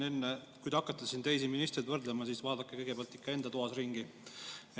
Enne kui te hakkate siin teisi ministreid, vaadake kõigepealt ikka enda toas ringi.